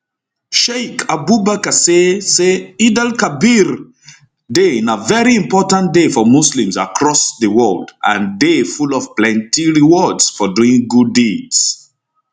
sheik abubakar say say eidelkabir day na veri important day for muslims across di world and day full of plenty rewards for doing good deeds